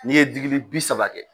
N'i ye digili bi saba kɛ.